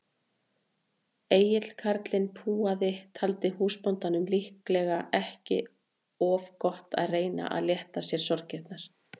Egill karlinn púaði, taldi húsbóndanum líklega ekki of gott að reyna að létta sér sorgirnar.